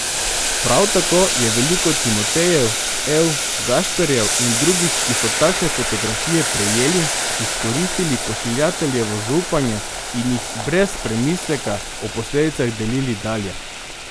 Prav tako je veliko Timotejev, Ev, Gašperjev in drugih, ki so takšne fotografije prejeli, izkoristili pošiljateljevo zaupanje in jih brez premisleka o posledicah delili dalje.